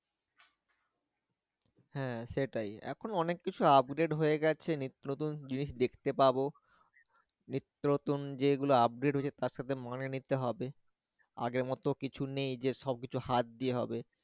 হ্যাঁ সেটাই এখন অনেক কিছু update হয়ে গেছে নিত্য-নতুন জিনিশ দেখতে পাব, নিত্য-নতুন যেগুলো udpate হয়েছে তার সাথে মানাই নিতে হবে, আগের মত কিছু নেই যে সবকিছু হাত দিয়ে হবে